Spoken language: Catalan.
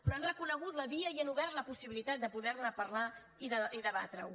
però han reconegut la via i han obert la possibilitat de poder ne parlar i debatre ho